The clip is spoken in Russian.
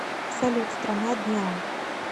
салют страна дняо